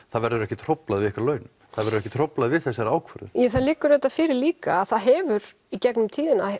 það verður ekkert hróflað við ykkar launum það verður ekkert hróflað við þessari ákvörðun já það liggur auðvitað fyrir líka að það hefur í gegnum tíðina